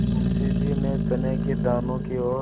मुंशी जी ने चने के दानों की ओर